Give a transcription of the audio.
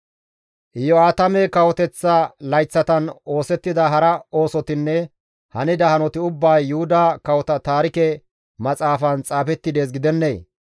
Iyo7aatame kawoteththa layththatan oosettida hara oosotinne hanida hanoti ubbay Yuhuda Kawota Taarike Maxaafan xaafetti dees gidennee?